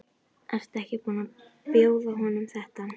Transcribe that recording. Ertu ekki búin að bjóða honum þetta?